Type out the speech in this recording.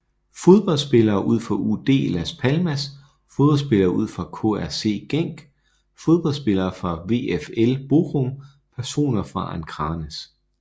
Fodboldspillere fra UD Las Palmas Fodboldspillere fra KRC Genk Fodboldspillere fra VfL Bochum Personer fra Akranes